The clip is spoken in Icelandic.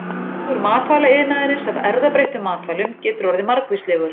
Hagur matvælaiðnaðarins af erfðabreyttum matvælum getur orðið margvíslegur.